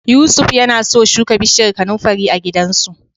Yusuf yana so shuka bishiyar kanunfari a gidansu.